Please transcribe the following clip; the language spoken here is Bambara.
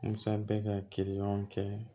Musa bɛ ka kiri ɲɔgɔn kɛ